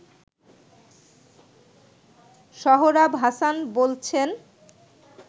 সোহরাব হাসান বলছেন